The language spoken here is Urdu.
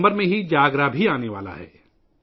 ستمبر میں جاگرا بھی آنے والا ہے